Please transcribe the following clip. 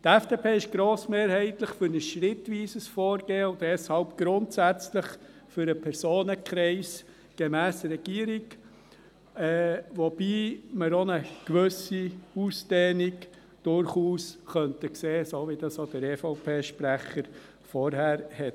Die FDP ist grossmehrheitlich für ein schrittweises Vorgehen und deshalb grundsätzlich für den Personenkreis gemäss dem Antrag der Regierung, wobei wir eine gewisse Ausdehnung durchaus als möglich erachten, so wie sie zuvor auch der EVP-Sprecher angetönt hat.